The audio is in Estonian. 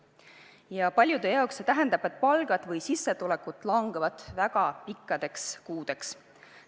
Ja paljude jaoks see tähendab seda, et palgad või muud sissetulekud langevad väga pikkadeks kuudeks.